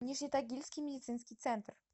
нижнетагильский медицинский центр